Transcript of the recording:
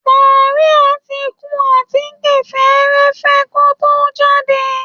Màríà ti kun àtíkè fẹ́ẹ́rẹ́fẹ́ kó tó jáde